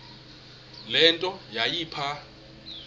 le nto yayipha